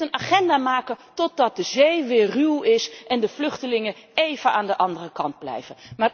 Je kunt een agenda maken totdat de zee weer ruw is en de vluchtelingen even aan de andere kant blijven.